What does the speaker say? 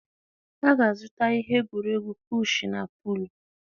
A ga-azụta ihe egwuregwu pushuu na puluu.